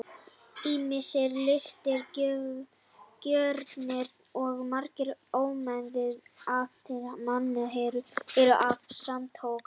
ýmsir listrænir gjörningar og margar ómeðvitaðar athafnir manna eru af sama toga